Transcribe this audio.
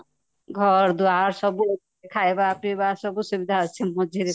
ଘର ଦ୍ୱାର ସବୁ ଖାଇବା ପିଇବା ସବୁସୁବିଧା ମଝିରେ